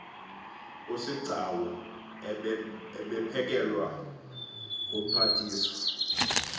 usigcau ebephelekwa ngumphathiswa